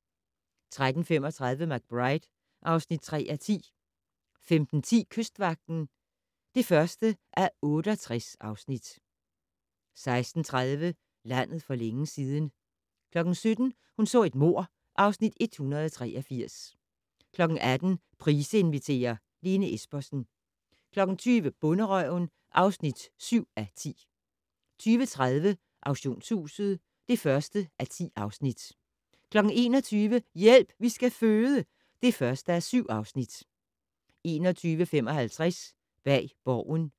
13:35: McBride (3:10) 15:10: Kystvagten (1:68) 16:30: Landet for længe siden 17:00: Hun så et mord (Afs. 183) 18:00: Price inviterer - Lene Espersen 20:00: Bonderøven (7:10) 20:30: Auktionshuset (1:10) 21:00: Hjælp, vi skal føde (1:7) 21:55: Bag Borgen